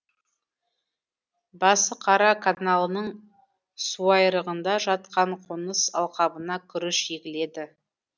басықара каналының суайрығында жатқан қоныс алқабына күріш егіледі